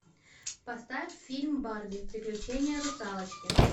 поставь фильм барби приключения русалочки